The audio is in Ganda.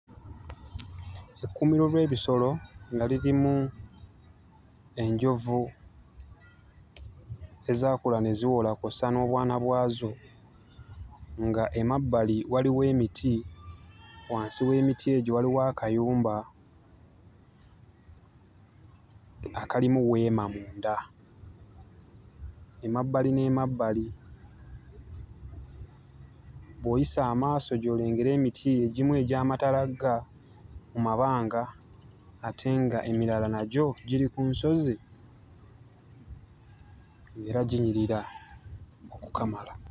Ekkuumiro ly'ebisolo nga lirimu enjovu ezaakula ne ziwola kw'ossa n'obwana bwazo, nga emabbali waliwo emiti, wansi w'emiti egyo waliwo akayumba akalimu weema munda. Emabbali n'emabbali bw'oyisa amaaso gy'olengera emiti egimu egyamatalaga mu mabanga ate nga emirala nagyo giri ku nsozi era ginyirira okukamala.